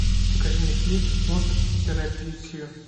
покажи мне фильм мост в терабитию